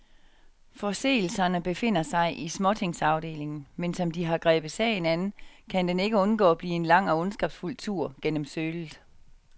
Forseelserne befinder sig i småtingsafdelingen, men som de har grebet sagen an, kan den ikke undgå at blive en lang og ondskabsfuld tur gennem sølet.